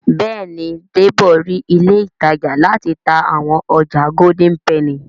Béèni Debo rí ilé ìtajà láti tá àwọn ọjà Golden penny.